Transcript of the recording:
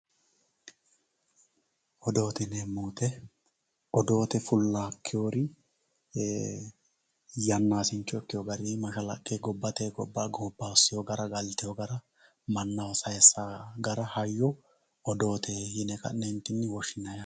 Odoote yineemo woyite odoote fulakiwori yanasincho ikkewo garinni mashalaqe gobate gobaa, goba hosewo gara galitewo gara manaho sayisawo gara hayo odoote yine ka'neentinni woshinayi yaate